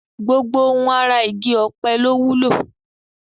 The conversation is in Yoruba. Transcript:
Gbogbo ohun ara igi ọ̀pẹ ló wúlò